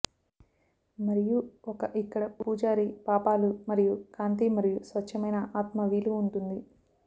మరియు ఒక ఇక్కడ పూజారి పాపాలు మరియు కాంతి మరియు స్వచ్ఛమైన ఆత్మ వీలు ఉంటుంది